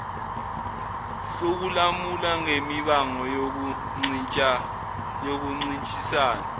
sokulamula ngemibango yokuncintisana